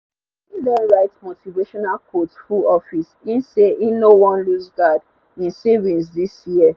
e don write motivational quote full office e say e no wan looseguard e savings this year